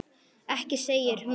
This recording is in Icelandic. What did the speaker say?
Ekki segir hún.